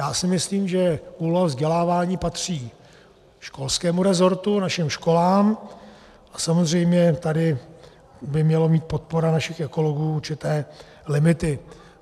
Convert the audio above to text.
Já si myslím, že úloha vzdělávání patří školskému rezortu, našim školám, a samozřejmě tady by měla mít podpora našich ekologů určité limity.